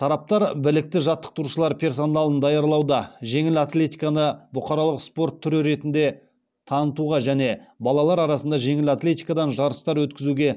тараптар білікті жаттықтырушылар персоналын даярлауда жеңіл атлетиканы бұқаралық спорт түрі ретінде танытуға және балалар арасында жеңіл атлетикадан жарыстар өткізуде